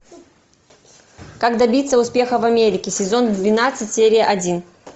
как добиться успеха в америке сезон двенадцать серия один